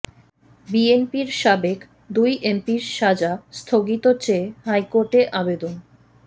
বিএনপির সাবেক দুই এমপির সাজা স্থগিত চেয়ে হাইকোর্টে আবেদন